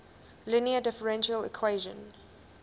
linear differential equation